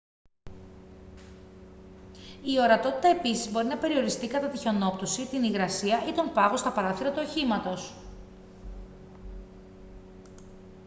η ορατότητα επίσης μπορεί να περιοριστεί κατά τη χιονόπτωση την υγρασία ή τον πάγο στα παράθυρα του οχήματος